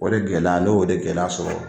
O de gɛlɛya ne y'o de gɛlɛya sɔrɔ